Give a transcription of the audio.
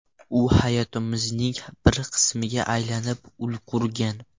U hayotimizning bir qismiga aylanib ulgurgan.